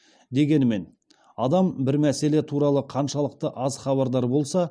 дегенмен адам бір мәселе туралы қаншалықты аз хабардар болса